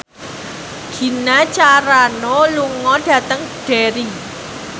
Gina Carano lunga dhateng Derry